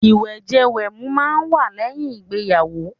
Ìwẹ̀jẹ-wẹ̀mu máà ń wà lẹ́yìn ìgbéyàwó